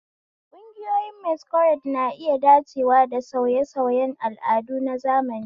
Ƙungiyoyin Masquerade na iya dacewa da sauye-sauyen al'adu na zamani.